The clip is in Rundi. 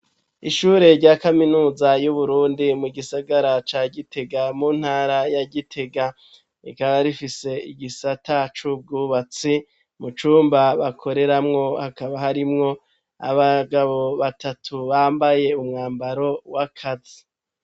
Ishure rya kaminuza yu Burundi mu gisagara ca Gitega mu ntara ya Gitega rikaba rifise igisata cubwubatsi mu cumba bakoreramwo hakaba harimwo abagabo batatu bambaye umwambaro wa kazi